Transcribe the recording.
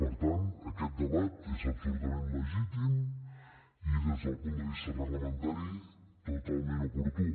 per tant aquest debat és absolutament legítim i des del punt de vista reglamentari totalment oportú